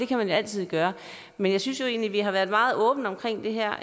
kan man jo altid gøre men jeg synes jo egentlig at vi har været meget åbne omkring det her og